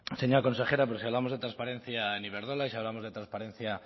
señora consejera si hablamos de transparencia en iberdrola y si hablamos de transparencia